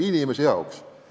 ikka inimese jaoks.